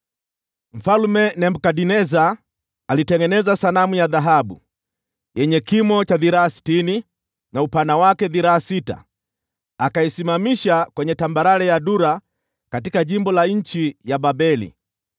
Mfalme Nebukadneza alitengeneza sanamu ya dhahabu, yenye kimo cha dhiraa sitini, na upana wa dhiraa sita, akaisimamisha kwenye tambarare ya Dura katika jimbo la nchi ya Babeli.